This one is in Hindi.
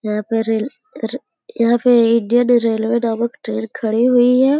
यहां पे रेल यहां पे इंडियन रेलवे नामक ट्रेन खड़ी हुई है।